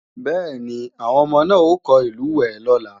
Bẹ́ẹ̀ni, àwọn ọmọ náà ó kọ́ ìlúwẹ̀ẹ́ lọ́la